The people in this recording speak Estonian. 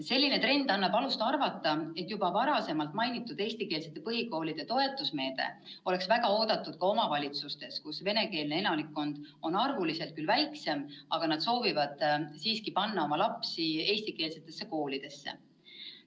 Selline trend annab alust arvata, et juba varem mainitud eestikeelsete põhikoolide toetusmeede oleks väga oodatud ka nendes omavalitsustes, kus venekeelne elanikkond on arvuliselt küll väiksem, aga siiski soovitakse panna oma lapsi eestikeelsetesse koolidesse.